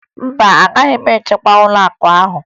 Mba, agaghị m achịkwa ụlọakụ ahụ